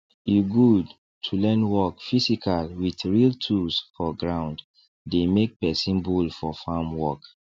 e good to learn work physical with real tools for ground dey make person bold for farm work